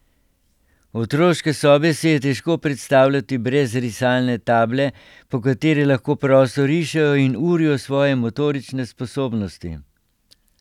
Otroške sobe si je težko predstavljati brez risalne table, po kateri lahko prosto rišejo in urijo svoje motorične sposobnosti.